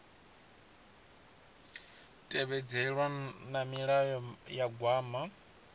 tevhedzelwa na milayo ya gwama